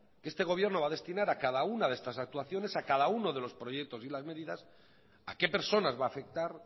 que este gobierno va a destinar a cada una de estas actuaciones a cada uno de los proyectos y de las medidas a qué personas va a afectar